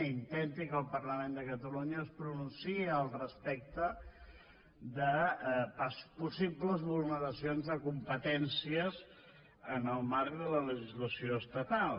i intenti que el parlament de catalunya es pronunciï al respecte de possibles vulneracions de competències en el marc de la legislació estatal